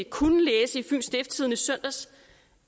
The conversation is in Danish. kunne læse i fyens stiftstidende i søndags